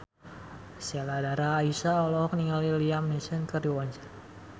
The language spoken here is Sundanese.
Sheila Dara Aisha olohok ningali Liam Neeson keur diwawancara